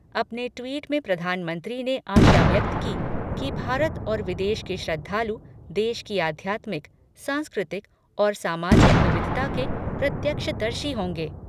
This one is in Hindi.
अपने ट्वीट में प्रधानमंत्री ने आशा व्यक्त की कि भारत और विदेश के श्रद्धालु देश की अध्यात्मिक, सांस्कृतिक और सामाजिक विविधता के प्रत्यक्षदर्शी होंगे।